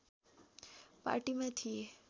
पार्टीमा थिए